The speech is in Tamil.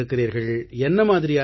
இருக்கிறீர்கள் என்னமாதிரியான